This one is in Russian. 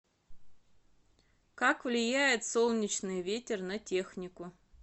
как влияет солнечный ветер на технику